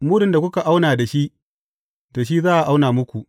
Mudun da kuka auna da shi, da shi za a auna muku.